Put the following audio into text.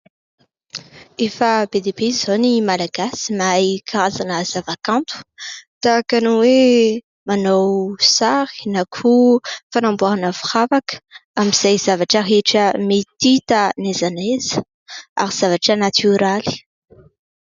Efa be dia be izao ny Malagasy mahay karazana zavakanto ; tahaka ny hoe manao sary na koa fanamboarana firavaka amin'izay zavatra rehetra mety hita na aiza na aiza ary zavatra natioraly.